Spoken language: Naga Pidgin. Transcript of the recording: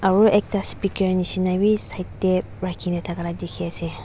aru ekta speaker nishina bi side tae rakhina thaka la dikhiase.